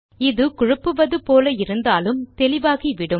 இது குழப்புவது போல இருந்தாலும் தெளிவாகிவிடும்